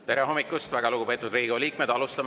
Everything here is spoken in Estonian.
Tere hommikust, väga lugupeetud Riigikogu liikmed!